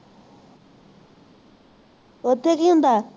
ਉੱਥੇ ਕੀ ਹੁੰਦਾ